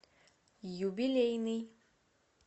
юбилейный